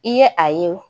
I ye a ye